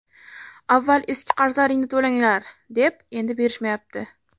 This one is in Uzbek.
Avval eski qarzlaringni to‘langlar, deb endi berishmayapti.